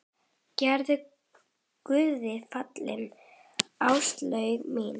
Vertu Guði falin, Áslaug mín.